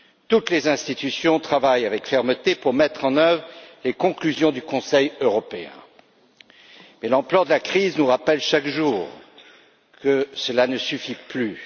Toutes les institutions travaillent avec fermeté pour mettre en œuvre les conclusions du Conseil européen, mais l'ampleur de la crise nous rappelle chaque jour que cela ne suffit plus.